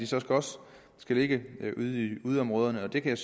så også skal ligge ude i yderområderne og det kan